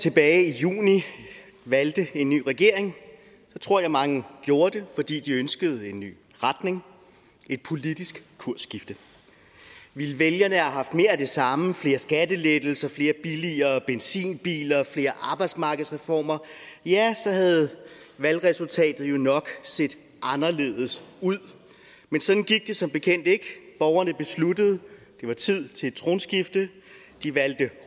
tilbage i juni valgte en ny regering tror jeg mange gjorde det fordi de ønskede en ny retning et politisk kursskifte ville vælgerne have haft mere af det samme nemlig flere skattelettelser flere og billigere benzinbiler flere arbejdsmarkedsreformer ja så havde valgresultatet nok set anderledes ud men sådan gik det som bekendt ikke borgerne besluttede at det var tid til et tronskifte de valgte